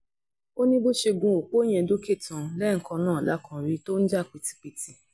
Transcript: ó ní bó ṣe gun opó yẹn dókè tán lẹ́ẹ̀kan náà la kàn rí i tó ń jà pìtìpìtì